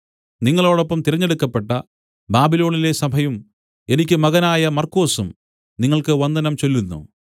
നിങ്ങളോടൊപ്പം തിരഞ്ഞെടുക്കപ്പെട്ട ബാബിലോണിലെ സഭയും എനിക്ക് മകനായ മർക്കൊസും നിങ്ങൾക്ക് വന്ദനം ചൊല്ലുന്നു